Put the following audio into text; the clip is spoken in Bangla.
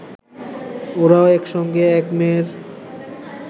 ওঁরা একসঙ্গে, এক মেয়ের